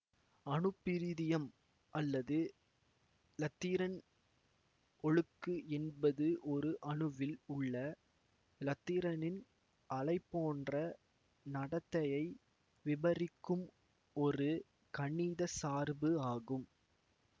அணுப்பிரிதியம் அல்லது இலத்திரன் ஒழுக்கு என்பது ஒரு அணுவில் உள்ள இலத்திரனின் அலைபோன்ற நடத்தையை விபரிக்கும் ஒரு கணித சார்பு ஆகும்